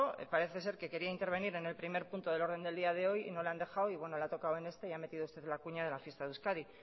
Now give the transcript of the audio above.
parece ser que quería intervenir en el primer punto del orden del día de hoy y no le han dejado y bueno le ha tocado en este y ha metido usted la cuña de la fiesta de euskadi